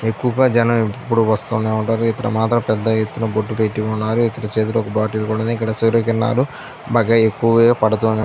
ఎక్కువగా జనం వస్తూనే ఉంటారు ఇతను మాత్రం పెద్ద ఎత్తున బొట్టు పెట్టి ఉన్నారు ఇతని చేతిలో ఒక బాటిల్ కూడా వుంది. ఇక్కడ సూర్య కిరణాలు బాగా ఎక్కువగా పడుతున్నా --